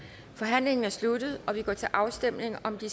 forhandlingen er sluttet og vi går til afstemning om de